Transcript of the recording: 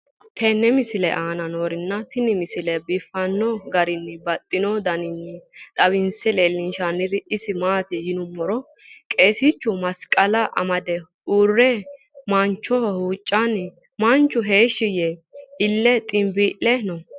tenne misile aana noorina tini misile biiffanno garinni babaxxinno daniinni xawisse leelishanori isi maati yinummoro qeesichu masiqala amade uure manchoho huucanna manchu heeshi yee ille xinbii'le noo